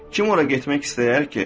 Kim ora getmək istəyər ki?